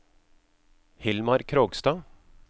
Hilmar Krogstad